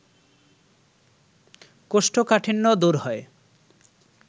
কোষ্ঠকাঠিন্য দূর হয়